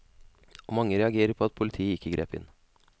Og mange reagerer på at politiet ikke grep inn.